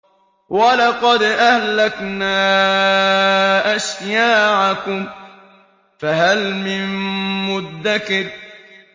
وَلَقَدْ أَهْلَكْنَا أَشْيَاعَكُمْ فَهَلْ مِن مُّدَّكِرٍ